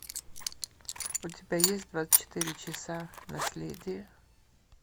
у тебя есть двадцать четыре часа наследие